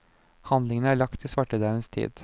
Handlingen er lagt til svartedauens tid.